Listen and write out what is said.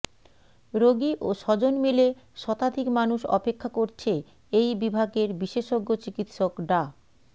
রোগী ও স্বজন মিলে শতাধিক মানুষ অপেক্ষা করছে এই বিভাগের বিশেষজ্ঞ চিকিৎসক ডা